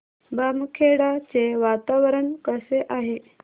बामखेडा चे वातावरण कसे आहे